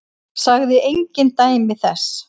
Sagði engin dæmi þess.